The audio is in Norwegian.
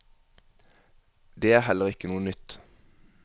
Det er heller ikke noe nytt.